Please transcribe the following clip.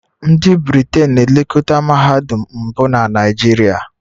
Ndị Britain na-elekọta mahadum mbụ na Naijiria